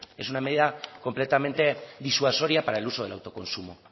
es una medida completamente disuasoria para el uso del autoconsumo